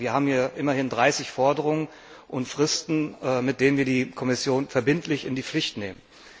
Wir haben hier immerhin 30 Forderungen und Fristen, mit denen wir die Kommission verbindlich in die Pflicht nehmen.